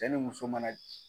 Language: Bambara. Cɛ ni muso mana